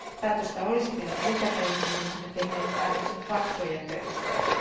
Päätöstä olisi pitänyt lykätä, jotta me olisimme tehneet päätöksen faktojen perusteella.